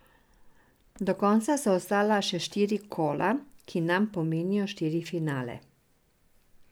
Do konca so ostala še štiri kola, ki nam pomenijo štiri finale.